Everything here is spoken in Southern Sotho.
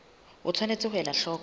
o tshwanetse ho ela hloko